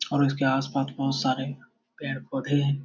और इसके आसपास बहुत सारे पेड़-पोधे हैं।